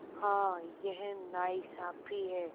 हाँ यह नाइंसाफ़ी है